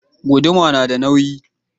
Guduma na da nauyi